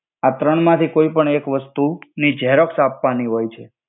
આ ત્રણ માથિ કોઇ પણ એક વસ્તુ ની જેરોક્સ આપ્વાની હોય છે.